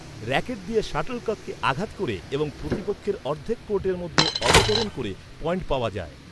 Racket দিয়ে শাটলককে আঘাত ক’রে এবং প্রতিপক্ষের অর্ধেক কোর্টের মধ্যে অবতরণ করে পয়েন্ট পাওয়া যায়।